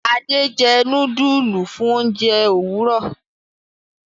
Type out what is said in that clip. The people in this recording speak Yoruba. Ade jé nudulu fún oúnjẹ Òwúrọ